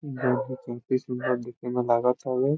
सुंदर दिखे मे लागातारे।